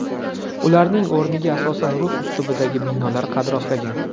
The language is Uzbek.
Ularning o‘rniga asosan rus uslubidagi binolar qad rostlagan.